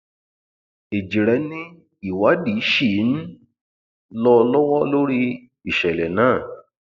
ẹjíre ni ìwádìí ṣì um ń lọ lọwọ lórí ìṣẹlẹ náà